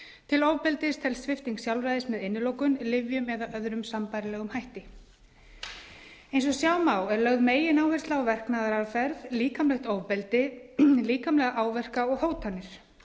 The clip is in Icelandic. til ofbeldis telst svipting sjálfræðis með innilokun lyfjum eða öðrum sambærilegum hætti eins og sjá má er lögð megináhersla á verknaðaraðferð líkamlegt ofbeldi líkamlega áverka og hótanir